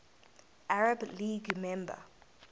arab league member